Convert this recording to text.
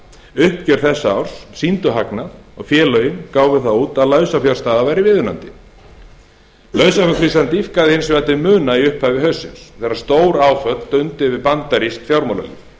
uppgjör þessa árs sýndu hagnað og félögin gáfu það út að lausafjárstaða væri viðunandi lausafjárkrísan dýpkaði hins vegar til muna í upphafi haustsins þegar stóráföll dundu yfir bandarískt fjármálalíf